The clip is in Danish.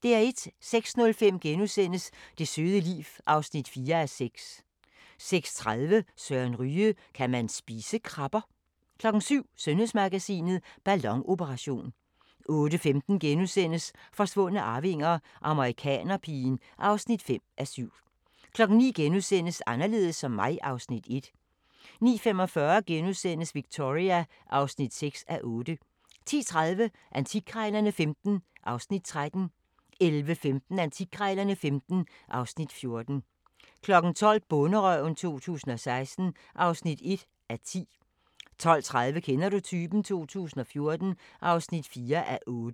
06:05: Det søde liv (4:6)* 06:30: Søren Ryge: Kan man spise krabber? 07:00: Sundhedsmagasinet: Ballonoperation 08:15: Forsvundne arvinger: Amerikanerpigen (5:7)* 09:00: Anderledes som mig (Afs. 1)* 09:45: Victoria (6:8)* 10:30: Antikkrejlerne XV (Afs. 13) 11:15: Antikkrejlerne XV (Afs. 14) 12:00: Bonderøven 2016 (1:10) 12:30: Kender du typen? 2014 (4:8)